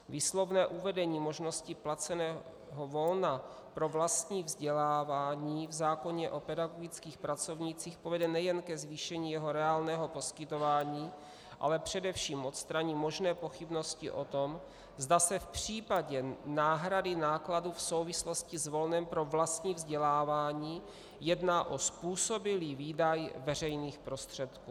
Výslovné uvedení možnosti placeného volna pro vlastní vzdělávání v zákoně o pedagogických pracovnících povede nejen ke zvýšení jeho reálného poskytování, ale především odstraní možné pochybnosti o tom, zda se v případě náhrady nákladů v souvislosti s volnem pro vlastní vzdělávání jedná o způsobilý výdaj veřejných prostředků.